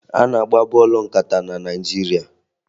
A na-agba bọọlụ nkata na Naịjirịa